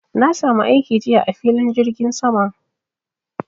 Na samu aiki jiya a filin jirgin sama